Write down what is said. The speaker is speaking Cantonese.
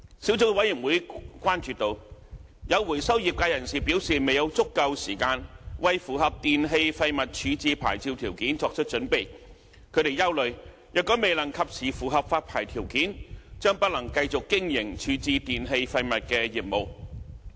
小組委員會關注到，有回收業界人士表示未有足夠時間為符合電器廢物處置牌照條件作出準備，他們憂慮若未能及時符合發牌條件，將不能繼續經營處置電器廢物的業務。